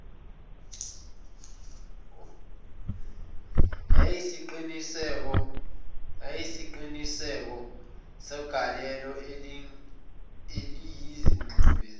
yesiqiniseko segalelo eliyingxube